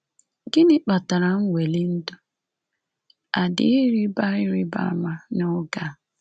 Gịnị kpatara nweli ndụ a dị ịrịba ịrịba ama n’oge a?